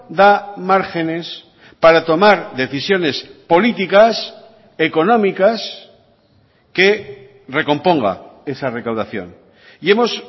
da márgenes para tomar decisiones políticas económicas que recomponga esa recaudación y hemos